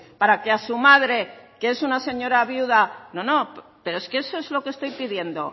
para que a su madre que es una señora viuda no no pero eso es lo que estoy pidiendo